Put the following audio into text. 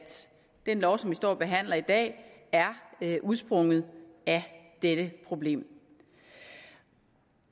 den lov som vi står og behandler i dag er udsprunget af dette problem